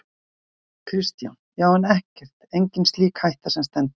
Kristján: Já, en ekkert, engin slík hætta sem stendur?